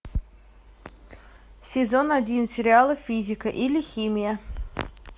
сезон один сериала физика или химия